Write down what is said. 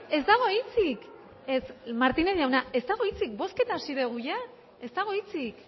ez dago hitzik ez martínez jauna ez dago hitzik bozketa hasi dugu ez dago hitzik